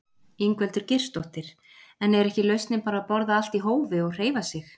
Ingveldur Geirsdóttir: En er ekki lausnin bara að borða allt í hófi og hreyfa sig?